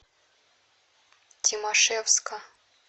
тимашевска